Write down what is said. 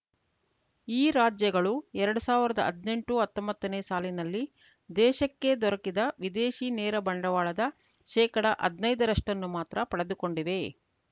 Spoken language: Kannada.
ಈ ರಾಜ್ಯಗಳು ಎರಡ್ ಸಾವಿರದ ಹದಿನೆಂಟುಹತ್ತೊಂಬತ್ತನೇ ಸಾಲಿನಲ್ಲಿ ದೇಶಕ್ಕೆ ದೊರಕಿದ ವಿದೇಶಿ ನೇರ ಬಂಡವಾಳದ ಶೇಕಡ ಹದ್ನೈದ ರಷ್ಟನ್ನು ಮಾತ್ರ ಪಡೆದುಕೊಂಡಿವೆ